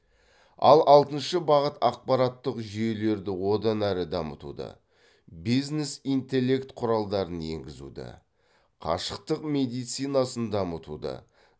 ал алтыншы бағыт ақпараттық жүйелерді одан әрі дамытуды бизнес интеллект құралдарын енгізуді қашықтық медицинасын дамытуды